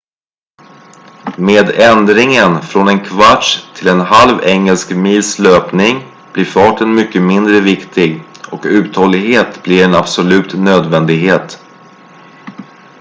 med ändringen från en kvarts till en halv engelsk mils löpning blir farten mycket mindre viktig och uthållighet blir en absolut nödvändighet